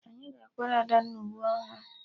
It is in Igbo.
Anyị ga-akwara Adanna uwe akwụkwọ ọhụrụ